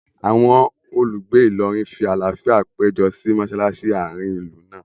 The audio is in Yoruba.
Awọn olùgbé Ìlọrin fí àlàáfíà pejọ si mọṣalaṣi àárín ìlú náà